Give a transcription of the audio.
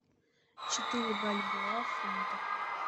четыре бальбоа в фунтах